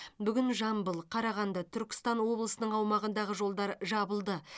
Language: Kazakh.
бүгін жамбыл қарағанды түркістан облысының аумағындағы жолдар жабылды